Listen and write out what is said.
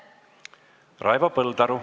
Raivo Põldaru.